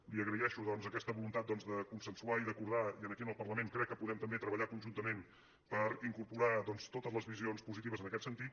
li agraeixo doncs aquesta voluntat de consensuar i d’acordar i aquí en el parlament crec que podem tam·bé treballar conjuntament per incorporar doncs totes les visions positives en aquest sentit